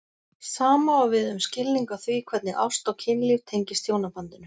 Sama á við um skilning á því hvernig ást og kynlíf tengist hjónabandinu.